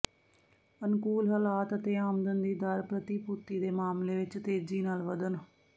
ਅਨੁਕੂਲ ਹਾਲਾਤ ਅਤੇ ਆਮਦਨ ਦੀ ਦਰ ਪ੍ਰਤੀਭੂਤੀ ਦੇ ਮਾਮਲੇ ਵਿਚ ਤੇਜ਼ੀ ਨਾਲ ਵਧਣ